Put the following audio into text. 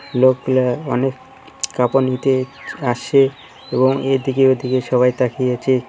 লোকগুলা অনেক কাপড় নিতে আসে এবং এদিকে ওদিকে সবাই তাকিয়ে আছে।